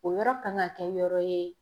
O yɔrɔ kan ka kɛ yɔrɔ ye.